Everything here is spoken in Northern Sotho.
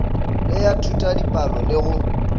le ya thutadipalo le go